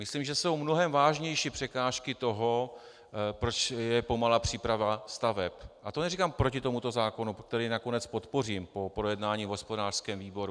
Myslím, že jsou mnohem vážnější překážky toho, proč je pomalá příprava staveb, a to neříkám proti tomuto zákonu, který nakonec podpořím po projednání v hospodářském výboru.